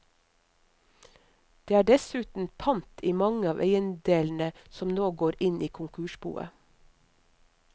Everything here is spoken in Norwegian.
Det er dessuten pant i mange av eiendelene som nå går inn i konkursboet.